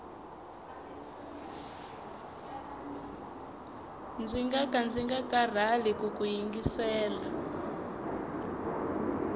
ndzi ngaka ndzi nga karhali kuku yingisela